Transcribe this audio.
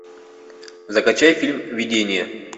закачай фильм видения